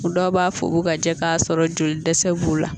Dɔw b'a fɔ u bɛ ka jɛ k'a sɔrɔ joli dɛsɛ b'u la